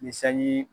Ni sanji